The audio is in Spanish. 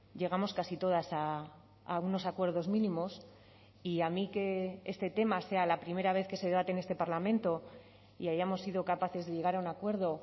llegamos casi todas a unos acuerdos mínimos y a mí que este tema sea la primera vez que se debate en este parlamento y hayamos sido capaces de llegar a un acuerdo